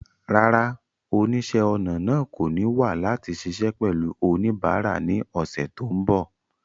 Rárá, oníṣẹ́-ọnà náà kò ní wà láti ṣiṣẹ́ pẹ̀lú oníbàárà ní ọ̀sẹ̀ tó ń bọ̀.